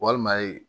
Walima